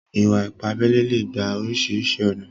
Ìwà-ìpà àbèlè lè gbà orísiríṣi ọ̀nà.